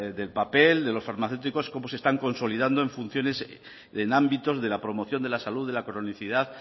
del papel de los farmacéuticos cómo se están consolidando en funciones en ámbitos de la promoción de la salud de la cronicidad